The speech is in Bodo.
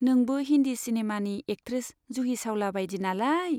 नोंबो हिन्दी सिनेमानि एक्ट्रेस जुहि चाउला बाइदि नालाय।